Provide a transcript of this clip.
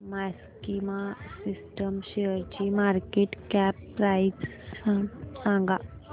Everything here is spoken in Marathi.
मॅक्सिमा सिस्टम्स शेअरची मार्केट कॅप प्राइस सांगा